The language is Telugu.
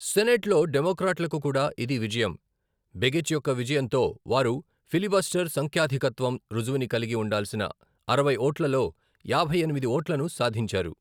సెనేట్లో డెమొక్రాట్లకు కూడా ఇది విజయం, బెగిచ్ యొక్క విజయంతో వారు ఫిలిబస్టర్ సంఖ్యాధికత్వం రుజువుని కలిగి ఉండాల్సిన అరవై ఓట్లలో యాభై ఎనిమిది ఓట్లను సాధించారు.